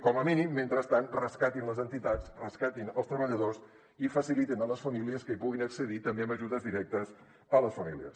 com a mínim mentrestant rescatin les entitats rescatin els treballadors i facilitin a les famílies que hi puguin accedir també amb ajudes directes a les famílies